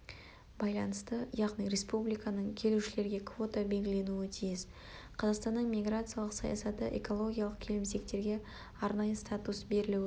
байланысты яғни республиканың келушілерге квота белгіленуі тиіс қазақстанның миграциялық саясаты экологиялық келімсектерге арнайы статус берілуі